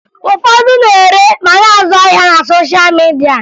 Ụfọdụ na-ere ma na-azụ ahịa na sosha midia